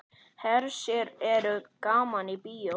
Hersir er gaman í bíó?